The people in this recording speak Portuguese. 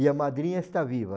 E a madrinha está viva.